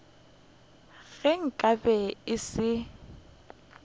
ge nka be e se